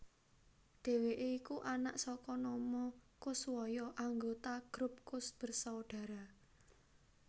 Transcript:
Dhèwèké iku anak saka Nomo Koeswoyo anggota grup Koes Bersaudara